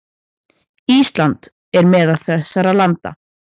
Ísland er meðal þessara landa.